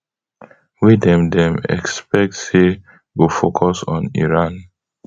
wey dem dem expect say go focus on iran